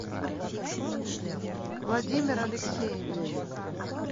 владимир алексеевич